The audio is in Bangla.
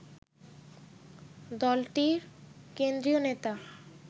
দলটির কেন্দ্রীয় নেতা